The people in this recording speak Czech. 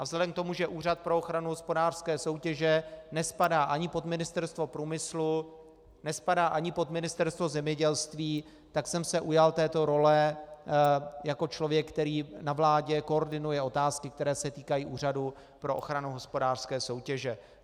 A vzhledem k tomu, že Úřad pro ochranu hospodářské soutěže nespadá ani pod Ministerstvo průmyslu, nespadá ani pod Ministerstvo zemědělství, tak jsem se ujal této role jako člověk, který na vládě koordinuje otázky, které se týkají Úřadu pro ochranu hospodářské soutěže.